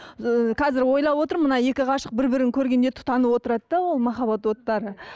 ыыы қазір ойлап отырмын мына екі ғашық бір бірін көргенде тұтанып отырады да ол махаббат оттары